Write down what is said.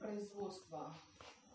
производство